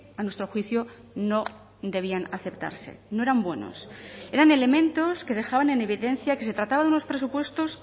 a nuestro juicio no debían aceptarse no eran buenos eran elementos que dejaban en evidencia que se trataba de unos presupuestos